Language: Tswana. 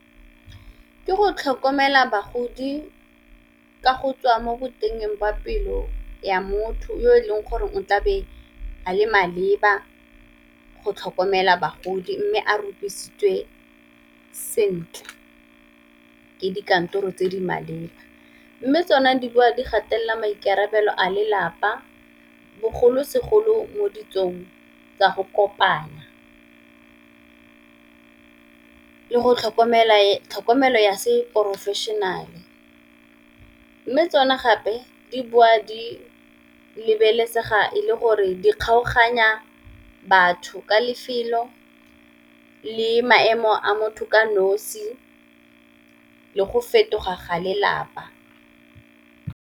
Ke go tlhokomela bagodi ka go tswa mo boteng jwa pelo ya motho yo e leng gore o tlabe a le maleba go tlhokomela bagodi, mme a rupisitswe sentle ke dikantoro tse di maleba. Mme tsona di boa di gatelela maikarabelo a lelapa bogolosegolo mo ditsong tsa go kopana, le tlhokomelo ya se professional-e, mme tsone gape di boa di lebelesega e le gore di kgaoganya batho ka lefelo le maemo a motho ka nosi le go fetoga ga lelapa.